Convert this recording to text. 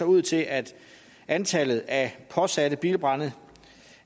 ud til at antallet af påsatte bilbrande